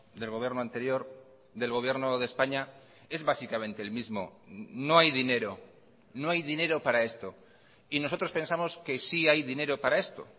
del gobierno anterior del gobierno de españa es básicamente el mismo no hay dinero no hay dinero para esto y nosotros pensamos que sí hay dinero para esto